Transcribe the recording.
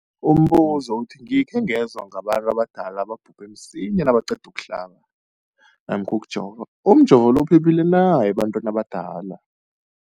Umbuzo, gikhe ngezwa ngabantu abadala ababhubhe msinyana nabaqeda ukuhlaba namkha ukujova. Umjovo lo uphephile na ebantwini abadala?